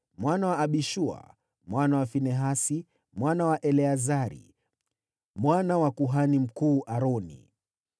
mwana wa Abishua, mwana wa Finehasi, mwana wa Eleazari, mwana wa kuhani mkuu Aroni.